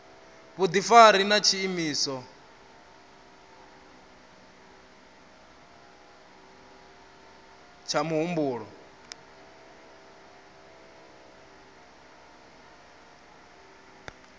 vhudifari na tshiimo tsha muhumbulo